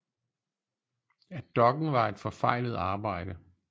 At dokken var et forfejlet arbejde